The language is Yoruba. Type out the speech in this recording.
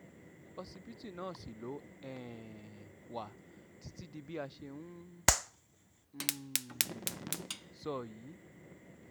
òṣìbìtì náà ṣì ló um wà títí di bá a ṣe ń ń um sọ yìí